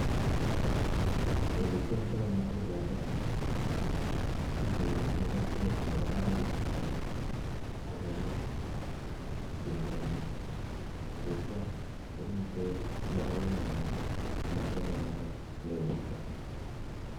Ole kiamdoi matundiandoni, ko kichuri mokotiet nebo barak, akeam pendo nyii, tetyaa komitei logoyat nyii, komakiame notok kewirta